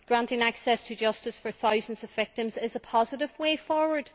Granting access to justice for thousands of victims is a positive way forward.